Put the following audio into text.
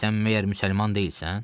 Sən məgər müsəlman deyilsən?